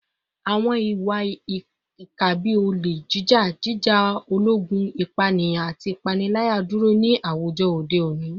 Awọn iwa-ipa bii ole jija, jija ologun, ipaniyan, ati ipanilaya duro ni awujọ ode oni